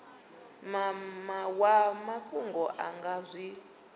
wa mafhungo a nga zwi